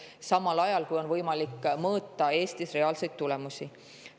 Ning samal ajal on võimalik mõõta Eestis reaalseid tulemusi.